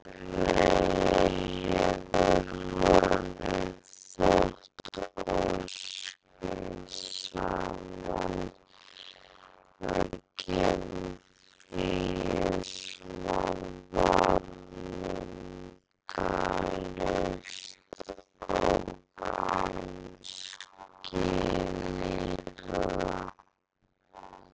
En sennilega hefur honum þótt óskynsamlegt að gefa fríið svona vafningalaust og án skilyrða.